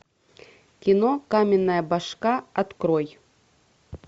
кино каменная башка открой